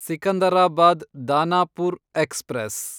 Secunderabad Danapur express